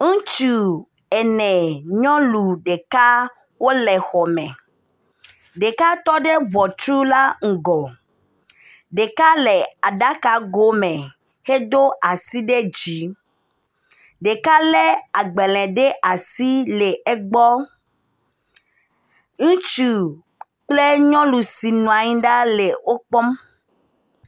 Ŋutsu ene, nyɔnu ɖeka wole xɔ me, ɖeka tɔ ɖe ŋɔtru la ŋgɔ, ɖeka le aɖaka go me hedo asi ɖe dzi, ɖeka lé agbalẽ ɖe asi le egbɔ.